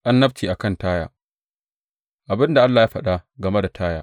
Annabci a kan Taya Abin da Allah ya faɗa game da Taya.